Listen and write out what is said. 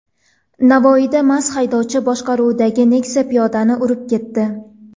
Navoiyda mast haydovchi boshqaruvidagi Nexia piyodani urib ketdi.